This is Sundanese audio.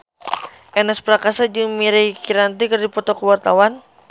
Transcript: Ernest Prakasa jeung Mirei Kiritani keur dipoto ku wartawan